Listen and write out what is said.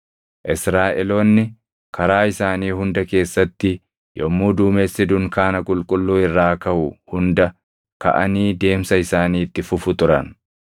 Israaʼeloonni karaa isaanii hunda keessatti yommuu duumessi dunkaana qulqulluu irraa kaʼu hunda kaʼanii deemsa isaanii itti fufu turan.